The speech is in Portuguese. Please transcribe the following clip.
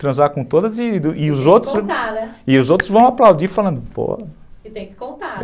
Transar com todas e e os outros vão aplaudir falando, pô... E tem que contar.